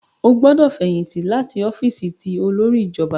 O gbọdọ fẹyìntì láti ọfiisi ti olórí ìjọba!